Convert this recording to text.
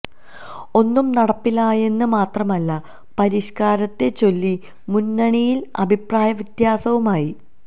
ഒന്നും നടപ്പിലായില്ലെന്ന് മാത്രമല്ല പരിഷ്കാരത്തെ ചൊല്ലി മുന്നണിയില് അഭിപ്രായ വിത്യാസവുമായി